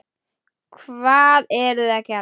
Hvað eruði að gera?